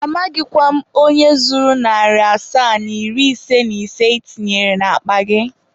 Amaghịkwa m onye zuru narị asaa na iri ise na ise ị tinyere n'akpa gị.